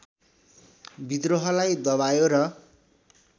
विद्रोहलाई दबायो र